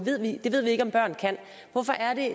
det ved vi ikke om børn kan hvorfor er det